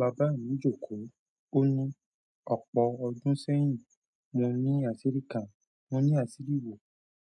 Bàbá mi jòkó, o ni: ọ̀pọ̀ ọdún sẹ́yìn, mo ni àṣírí kan, mo ní àṣírí wo?